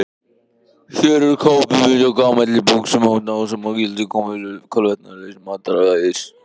Hér er kápumynd af gamalli bók sem dásamar gildi kolvetnasnauðs mataræðis.